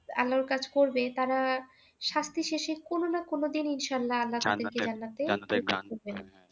আল্লাহ এর কাজ করবে তারা শাস্তি শেষে কোন না কোন দিন ইনশাল্লাহ আল্লাহ কে